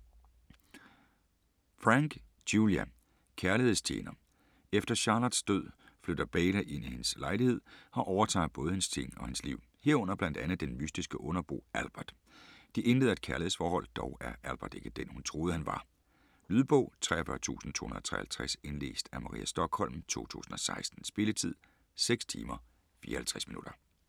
Franck, Julia: Kærlighedstjener Efter Charlottes død flytter Beyla ind i hendes lejlighed og overtager både hendes ting og hendes liv, herunder blandt andet den mystiske underbo Albert. De indleder et kærlighedsforhold. Dog er Albert ikke den, hun troede han var. Lydbog 43253 Indlæst af Maria Stokholm, 2016. Spilletid: 6 timer, 54 minutter.